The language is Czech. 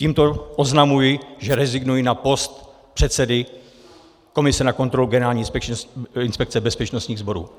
Tímto oznamuji, že rezignuji na post předsedy komise na kontrolu Generální inspekce bezpečnostních sborů.